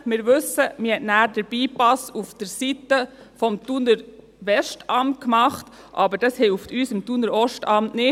Wir wissen: Man hat dann den Bypass auf der Seite des Thuner Westamts gemacht, aber das hilft uns im Thuner Ostamt nicht.